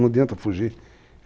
Não adianta fugir.